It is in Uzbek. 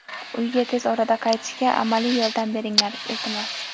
Uyga tez orada qaytishga amaliy yordam beringlar, iltimos.